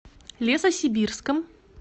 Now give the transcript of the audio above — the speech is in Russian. лесосибирском